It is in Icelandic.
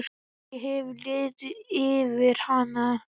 Kannski hefur liðið yfir hana?